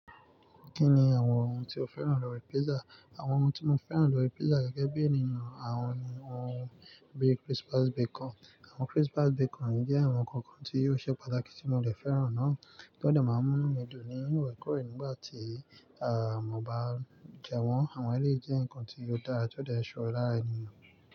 Kí ni àwọn ohun tí o fẹ́ràn lórí pizza? Àwọn ohun tí mo fẹ́ràn lórí pizza gẹ́gẹ́ bí ènìyàn, àwọn ni ohun bí crispy bacon. Àwọn crispy bacon jẹ́ àwọn ǹkan kan tí yóò ṣe pàtàkì tí mo dẹ fẹ́ràn náà, ti ó dẹ máa mú mí dùn ní orekórè nígbà tí, à, mo bá jẹ wọ́n. Àwọn ẹlẹ́ jẹ́ ǹkan tí ó dára tí ó dẹ ṣe ore lara ènìyàn.